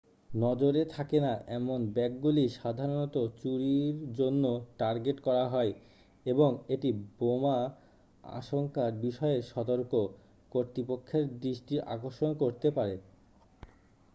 নজরে থাকে না এমন ব্যাগগুলি সাধারণত চুরির জন্য টার্গেট করা হয় এবং এটি বোমা আশঙ্কার বিষয়ে সতর্ক কর্তৃপক্ষের দৃষ্টি আকর্ষণ করতে পারে